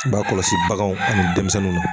I b'a kɔlɔsi baganw ani denmisɛnninw na.